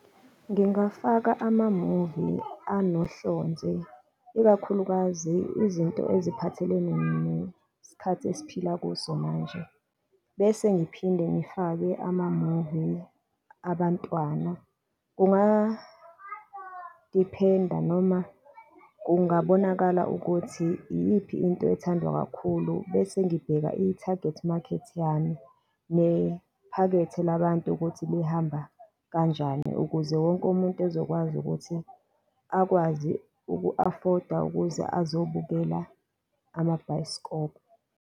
Ngingafaka amamuvi anohlonze, ikakhulukazi izinto eziphathelene nesikhathi esiphila kuso manje, bese ngiphinde ngifake amamuvi abantwana. Kungadiphenda noma kungabonakali ukuthi iyiphi into ethandwa kakhulu, bese ngibheka ithagethi makhethi yami, nephakethe labantu ukuthi lihamba kanjani, ukuze wonke umuntu ezokwazi ukuthi akwazi uku-afoda ukuze azobukela amabhayiskobho.